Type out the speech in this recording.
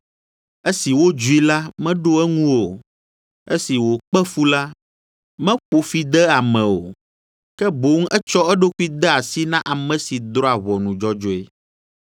Esi wodzui la, meɖo eŋu o, esi wòkpe fu la, meƒo fi de ame o, ke boŋ etsɔ eɖokui de asi na ame si drɔ̃a ʋɔnu dzɔdzɔe.